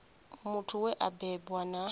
muthu we a bebwa na